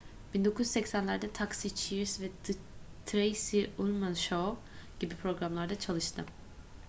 1980'lerde taxi cheers ve the tracey ullman show gibi programlarda çalıştı